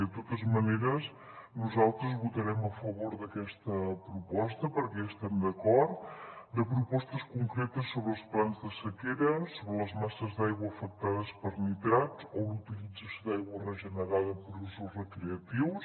de totes maneres nosaltres votarem a favor d’aquesta proposta perquè hi estem d’acord de propostes concretes sobre els plans de sequera sobre les masses d’aigua afectades per nitrats o la utilització d’aigua regenerada per a usos recreatius